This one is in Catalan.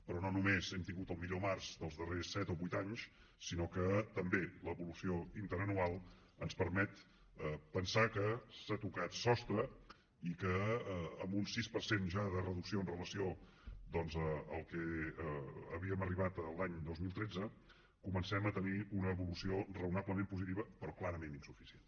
però no només hem tingut el millor març dels darrers set o vuit anys sinó que també l’evolució interanual ens permet pensar que s’ha tocat sostre i que amb un sis per cent ja de reducció amb relació al que havíem arribat l’any dos mil tretze comencem a tenir una evolució raonablement positiva però clarament insuficient